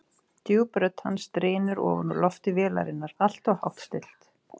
Djúp rödd hans drynur ofan úr lofti vélarinnar, alltof hátt stillt.